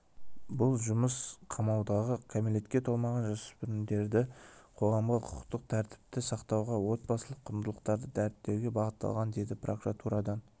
бұл жұмыс қамаудағы кәмелетке толмаған жасөспірімдерді қоғамда құқықтық тәртіпті сақтауға отбасылық құндылықтарды дәріптеуге бағытталған деді прокуратурадан